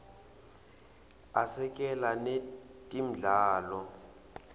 asekela netemidlalo